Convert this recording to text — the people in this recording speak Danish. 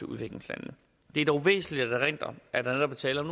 udviklingslandene det er dog væsentligt at erindre at der netop er tale om